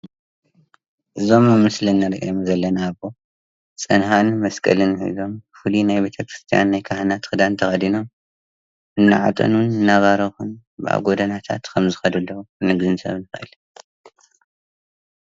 እዞም ኣብ ምስሊ ንሪኦም ዘለና ኣቦ ፅንሃን መስቀልን ሒዞም ፍሉይ ናይ ቤተ-ክርስትያን ናይ ካህናት ክዳን ተኸዲኖም እናዓጠኑን እናባረኹን ኣብ ጎደናታት ከም ዝኸዱ ዘለው ምግንዛብ ይከኣል፡፡